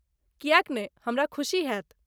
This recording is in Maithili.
किएक नै, हमरा खुशी हैत।